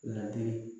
Ladi